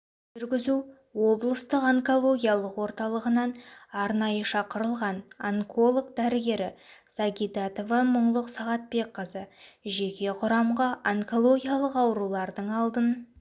жүргізу облыстық онкологиялық орталығынан арнайы шақырылған онколог-дәрігері сагидатова мұңлық сағатбекқызы жеке құрамға онкологиялық аурулардың алдын